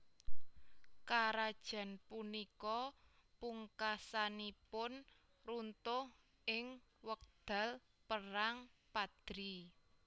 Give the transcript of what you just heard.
Karajan punika pungkasanipun runtuh ing wekdal Perang Padri